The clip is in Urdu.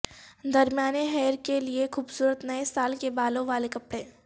درمیانے ہیئر کے لئے خوبصورت نئے سال کے بالوں والے کپڑے